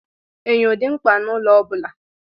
Enyo dị mkpa n'ụlọ ọbula.